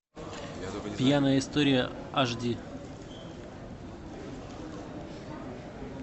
пьяная история аш ди